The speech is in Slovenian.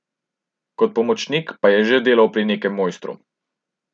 Kot pomočnik pa je že delal pri nekem mojstru.